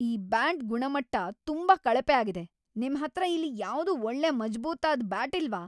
ಈ ಬ್ಯಾಟ್ ಗುಣಮಟ್ಟ ತುಂಬಾ ಕಳಪೆ ಆಗಿದೆ. ನಿಮ್ಹತ್ರ ಇಲ್ಲಿ ಯಾವ್ದೂ ಒಳ್ಳೆ ಮಜಬೂತಾದ್ ಬ್ಯಾಟ್ ಇಲ್ವಾ?